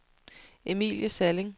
Emilie Salling